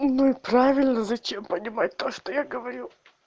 ну правильно зачем понимать то что я говорю